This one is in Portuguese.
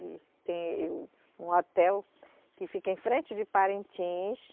E tem, eh, um hotel que fica em frente de Parintins.